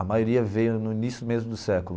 A maioria veio no início mesmo do século.